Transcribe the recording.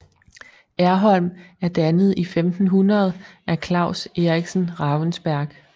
Erholm er dannet i 1500 af Claus Eriksen Ravensberg